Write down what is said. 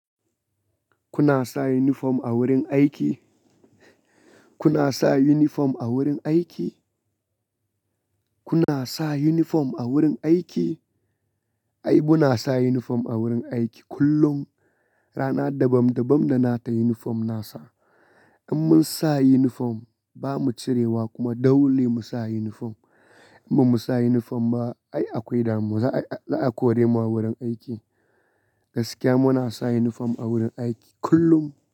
Kuna sa uniform a wurin aiki? Kuna sa uniform a wurin aiki? Kuna sa uniform a wurin aiki? Ai mu na sa uniform a wurin aiki kullum. Rana dabam dabam da na ta uniform na sa. In mun sa uniform ba mu cirewa kuma dole mu sa uniform. In ba mu sa uniform ba ai akwai damuwa za a kore mu a wurin aiki. Gaskiya mu na sa uniform a wurin aiki kullum.